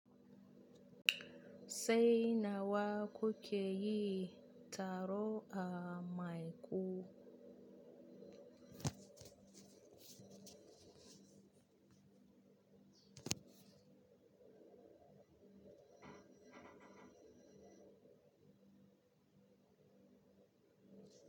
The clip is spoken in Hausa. Sau nawa kuke yin taro a Maiku?